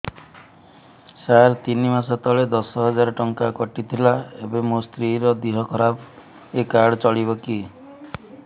ସାର ତିନି ମାସ ତଳେ ଦଶ ହଜାର ଟଙ୍କା କଟି ଥିଲା ଏବେ ମୋ ସ୍ତ୍ରୀ ର ଦିହ ଖରାପ ଏ କାର୍ଡ ଚଳିବକି